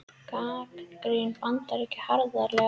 Gagnrýna Bandaríkin harðlega